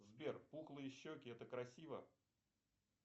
сбер пухлые щеки это красиво